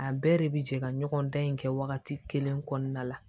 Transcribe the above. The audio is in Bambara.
A bɛɛ de bi jɛ ka ɲɔgɔn dan in kɛ wagati kelen kɔnɔna la